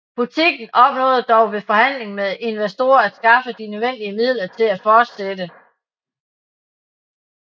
Butikken opnåede dog ved forhandling med investorer at skaffe de nødvendige midler til at fortsætte